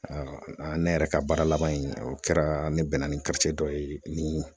ne yɛrɛ ka baara laban in o kɛra ne bɛnna ni dɔ ye ni